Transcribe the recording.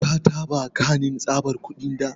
Ka taba kanin tsabar kudi da?